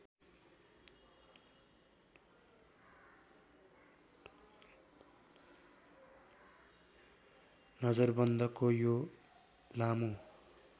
नजरबन्दको यो लामो